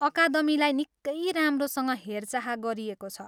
अकादमीलाई निक्कै राम्रोसँग हेरचाह गरिएको छ।